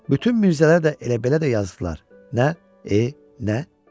Bütün Mirzələr də elə-belə də yazdılar: Nə, e, nə?